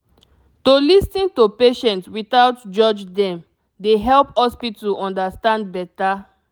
to lis ten to patient without judge dem dey help hospital understand better